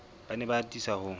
ba ne ba atisa ho